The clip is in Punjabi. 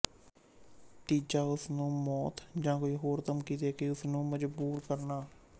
ਤੀਜਾ ਉਸਨੂੰ ਮੌਤ ਜਾਂ ਕੋਈ ਹੋਰ ਧਮਕੀ ਦੇਕੇ ਉਸਨੂੰ ਮਜ਼ਬੂਰ ਕਰਨਾ